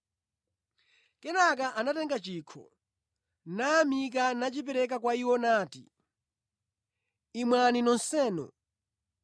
Kenaka anatenga chikho, nayamika nachipereka kwa iwo nati, “Imwani nonsenu.